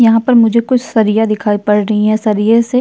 यहाँ पर मुझे कुछ सरिया दिखाई पड़ रही है सरिया से --